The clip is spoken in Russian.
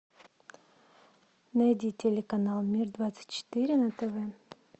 найди телеканал мир двадцать четыре на тв